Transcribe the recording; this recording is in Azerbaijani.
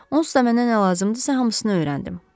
Onsuz da mənə nə lazımdırsa hamısını öyrəndim.